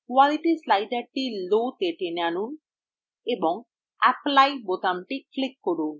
qualityস্লাইডারটি low তে টেনে আনুন এবং apply বোতামটি click করুন